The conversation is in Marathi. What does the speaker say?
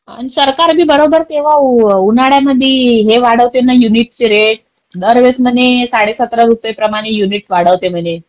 अन सरकार बी बरोबर तेव्वा उन्हाळ्यामध्ये हे वाढवता ना युनिट ची रेट. दर वेळेस म्हणे साडे सतरा रुपये प्रमाणे युनिट वाढवते म्हणे.